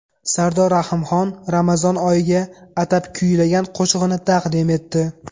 Sardor Rahimxon Ramazon oyiga atab kuylagan qo‘shig‘ini taqdim etdi.